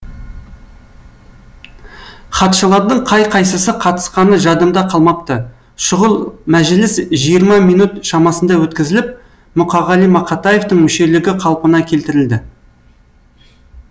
хатшылардың қай қайсысы қатысқаны жадымда қалмапты шұғыл мәжіліс жиырма минөт шамасында өткізіліп мұқағали мақатаевтың мүшелігі қалпына келтірілді